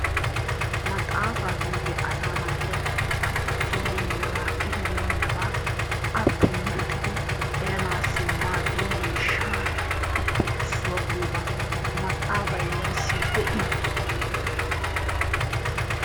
Maxaafa giyooge asaa naati kase siyyibeenaba, eribeenaba appe luxidi eraanassi maaddiyaa miishshatuppe issuwaa giyoogaa. Maxaafay neessi de'i?